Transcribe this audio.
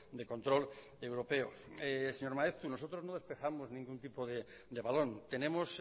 de control europeo señor maeztu nosotros no despejamos ningún tipo de balón tenemos